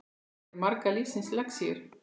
Hér eru margar lífsins lexíur.